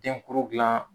Denkuru gilan